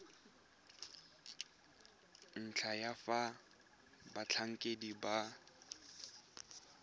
ntlha ya fa batlhankedi ba